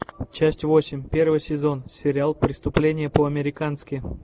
часть восемь первый сезон сериал преступление по американски